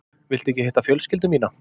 Viltu ekki hitta fjölskyldu mína?